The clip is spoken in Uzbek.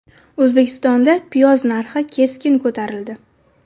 O‘zbekistonda piyoz narxi keskin ko‘tarildi.